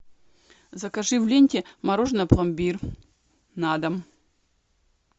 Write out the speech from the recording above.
закажи в ленте мороженое пломбир на дом